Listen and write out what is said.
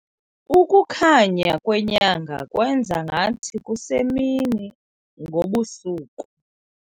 Ukukhanya kwenyanga kwenze ngathi kusemini ngobu busuku.